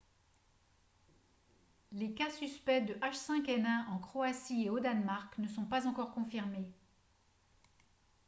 les cas suspects de h5n1 en croatie et au danemark ne sont pas encore confirmés